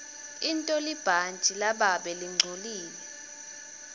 intolibhantji lababe lingcolile